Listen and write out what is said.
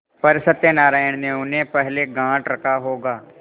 पर सत्यनारायण ने उन्हें पहले गॉँठ रखा होगा